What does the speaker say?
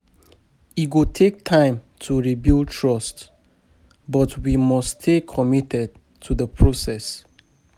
E go take time to rebuild trust, but we must stay committed to the process.